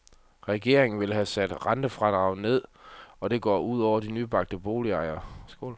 Regeringen vil have sat rentefradraget ned, og det går ud over nybagte boligejere.